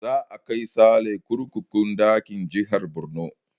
Za a kai sale kurkukun da ke jihar Borno